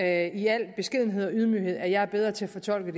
jeg i al beskedenhed og ydmyghed at jeg er bedre til at fortolke